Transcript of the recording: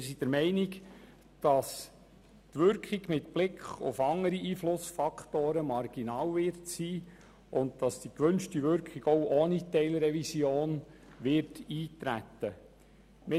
Wir sind der Meinung, dass die Wirkung mit Blick auf andere Einflussfaktoren marginal ist, und die gewünschte Wirkung auch ohne Teilrevision eintreten wird.